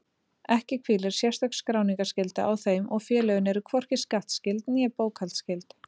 Ekki hvílir sérstök skráningarskylda á þeim og félögin eru hvorki skattskyld né bókhaldsskyld.